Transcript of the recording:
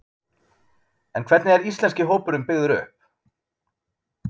En hvernig er íslenski hópurinn byggður upp?